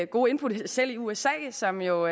gode input selv i usa som jo